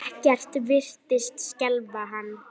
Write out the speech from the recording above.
Ekkert virtist skelfa hann.